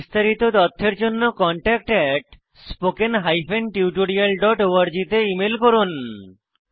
বিস্তারিত তথ্যের জন্য contactspoken tutorialorg তে ইমেল করুন